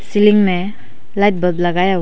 ceiling में light bulb लगाया--